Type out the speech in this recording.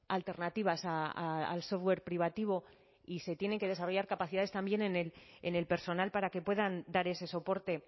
alternativas al software privativo y se tienen que desarrollar capacidades también en el personal para que puedan dar ese soporte